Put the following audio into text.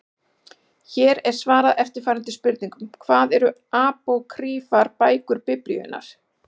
Hér er svarað eftirfarandi spurningum: Hvað eru apókrýfar bækur Biblíunnar?